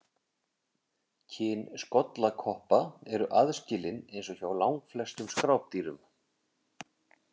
Kyn skollakoppa eru aðskilin eins og hjá langflestum skrápdýrum.